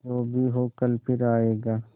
जो भी हो कल फिर आएगा